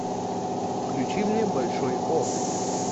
включи мне большой о